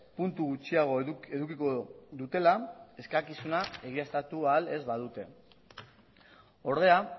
puntu gutxiago edukiko dutela eskakizuna egiaztatu ahal ez badute ordea